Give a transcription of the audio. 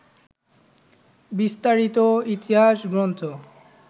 বিস্তারিত ইতিহাস গ্রন্থ